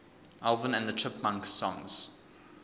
alvin and the chipmunks songs